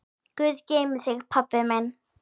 Guð geymi þig, pabbi minn.